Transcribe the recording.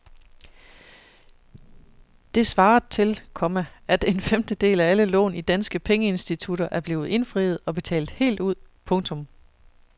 Det svaret til, komma at en femtedel af alle lån i danske pengeinstitutter er blevet indfriet og betalt helt ud. punktum